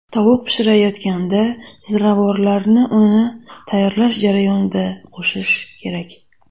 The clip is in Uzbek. Tovuq pishirayotganda ziravorlarni uni tayyorlash jarayonida qo‘shish kerak.